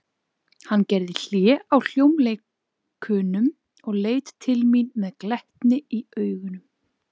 Hann gerði hlé á hljómleikunum og leit til mín með glettni í augunum.